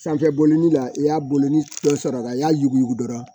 Sanfɛ bolili la i y'a bolonɔ dɔ sɔrɔ a la i y'a yuguyugu dɔrɔn